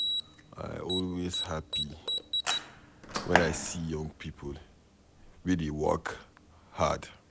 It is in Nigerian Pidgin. I always happy wen I see young people wey dey work hard.